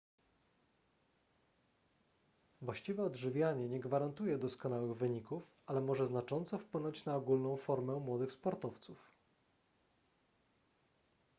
właściwe odżywianie nie gwarantuje doskonałych wyników ale może znacząco wpłynąć na ogólną formę młodych sportowców